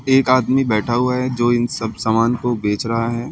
एक आदमी बैठा हुआ है जो इन सब सामान को बेच रहा है।